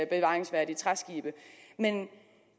bevaringsværdige træskibe men